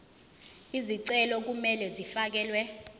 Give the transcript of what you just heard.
izicelo kumele zifakelwe